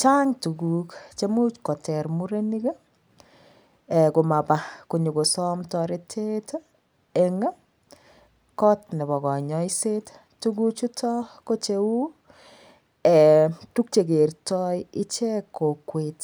Chang tukuk chemuch koter murenik komapa konyokosom toretet eng kot nepo konyoiset tukuchuto ko cheu tukchekertoi ichek kokwet